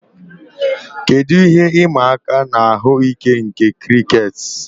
Kedu ihe ịma aka ahụike nke crickets